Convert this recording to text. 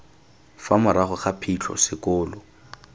fa morago ga phitlho sekolo